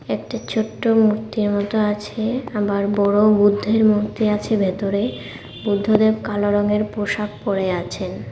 একটা ছোট মূর্তি মতো আছে আবার বড় বুদ্ধের মূর্তি আছে ভেতরে বুদ্ধদেব কালো রঙের পোশাক পরে আছেন।